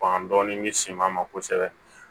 an dɔɔni bɛ siman ma kosɛbɛ